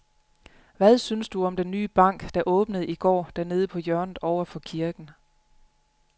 Hvad synes du om den nye bank, der åbnede i går dernede på hjørnet over for kirken?